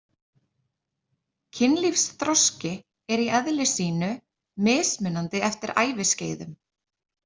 Kynlífsþroski er í eðli sínu mismunandi eftir æviskeiðum.